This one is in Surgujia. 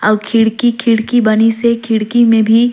अऊ खिड़की-खिड़की बनी से खिड़की में भी--